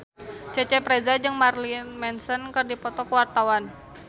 Cecep Reza jeung Marilyn Manson keur dipoto ku wartawan